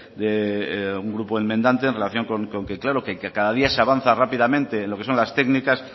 de un grupo enmendante en relación con que claro que cada día se avanza rápidamente en lo que son las técnicas